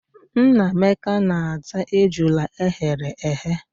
Nnameka na-ata ejula eghere eghe.